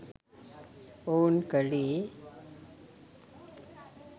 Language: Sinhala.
ඔවුන් කලේ